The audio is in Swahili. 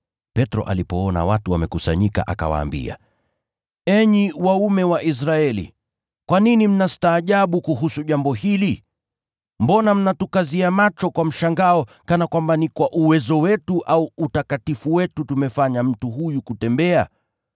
Petro alipoona watu wamekusanyika akawaambia, “Enyi Waisraeli, kwa nini mnastaajabu kuhusu jambo hili? Mbona mnatukazia macho kwa mshangao kana kwamba ni kwa uwezo wetu au utakatifu wetu tumemfanya mtu huyu kutembea?